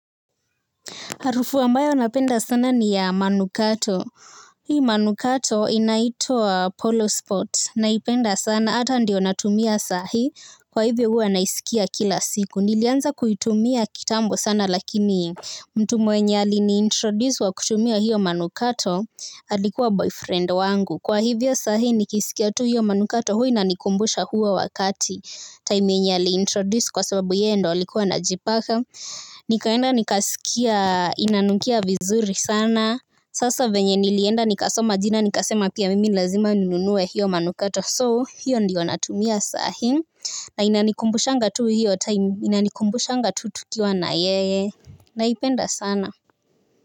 Harufu ambayo napenda sana ni ya manukato. Hii manukato inaitwa polo spot na ipenda sana ata ndio natumia sahi kwa hivyo huwa na isikia kila siku. Nilianza kuitumia kitambo sana lakini mtu mwenye ali ni introduce wa kutumia hiyo manukato alikuwa boyfriend wangu. Kwa hivyo sahi nikisikia tu hiyo manukato hua inanikumbusha huo wakati. Time yenye aliintroduce kwa sababu yeye ndo alikuwa anajipaka. Nikaenda nikasikia inanukia vizuri sana. Sasa venye nilienda nikasoma jina nikasema pia mimi lazima ninunue hiyo manukato So hiyo ndiyo natumia sahim. Na inanikumbushanga tu hiyo time. Inanikumbushanga tu tukiwa na yeye. Naipenda sana.